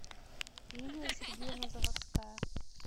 лилия сергеевна заводская